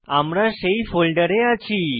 আমরা সেই ফোল্ডারে আছি